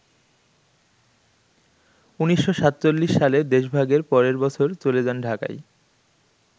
১৯৪৭ সালে দেশভাগের পরের বছর চলে যান ঢাকায়।